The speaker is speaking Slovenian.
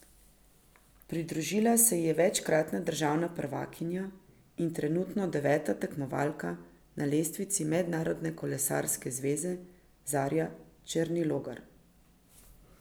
Pridružila se ji je večkratna državna prvakinja in trenutno deveta tekmovalka na lestvici Mednarodne kolesarke zveze Zarja Černilogar.